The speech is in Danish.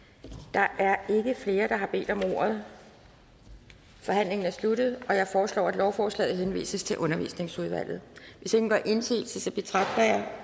der er ikke flere der har bedt om ordet så forhandlingen er sluttet jeg foreslår at lovforslaget henvises til undervisningsudvalget hvis ingen gør indsigelse betragter jeg